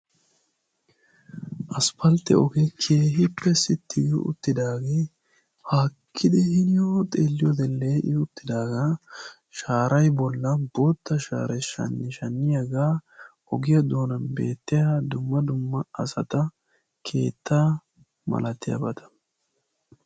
Asppaltte oge keehippe sitti gi uttidage haakkidi hiniyo xeelliyode lee'i uttidaga shaaray bollan bootta shaaray shanishaniyaga ogiya doonan beetiya dumma dumma asata, keetta malattiyabata.